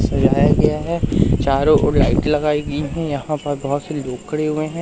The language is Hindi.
सजाया गया है चारों ओर लाइट लगाई गई हैं यहां पर बहोत से लोग खड़े हुए हैं।